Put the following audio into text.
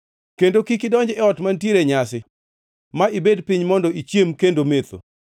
“Kendo kik idonj e ot mantiere nyasi ma ibed piny mondo ichiem kendo metho.